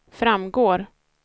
framgår